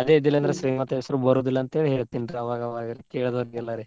ಅದೇ ಇದ್ದಿದಿಲ್ಲಾ ಅಂದ್ರ್ ಶ್ರೀಮಂತ ಹೆಸರು ಬರುದಿಲ್ಲಾ ಅಂತ ಹೇಳ್ತೇನ್ರಿ ಅವಾಗ ಅವಾಗ ಕೇಳಿದೋರಿಗೆಲ್ಲಾ ರೀ.